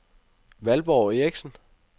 Valborg Erichsen